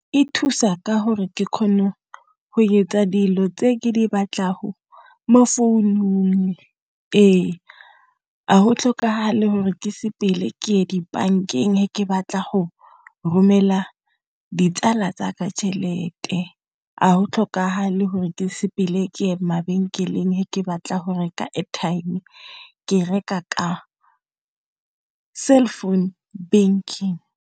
E thusa ka gore ke kgone go etsa dilo tse ke di batlago mo founung. Ee, ga go tlhokagale gore ke sepele ye dibankeng ke batla go romela ditsala tsaka tšhelete, a go tlhokagale gore ke sepele ke mabenkeleng batla go reka airtime ke reka ka cell phone banking.